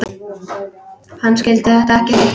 Hann skildi þetta ekki heldur.